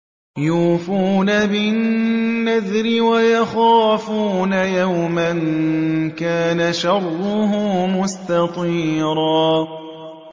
يُوفُونَ بِالنَّذْرِ وَيَخَافُونَ يَوْمًا كَانَ شَرُّهُ مُسْتَطِيرًا